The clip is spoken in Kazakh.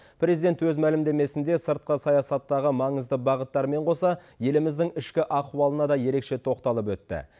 президент өз мәлімдемесінде сыртқы саясаттағы маңызды бағыттармен қоса еліміздің ішкі ахуалына да ерекше тоқталып өтті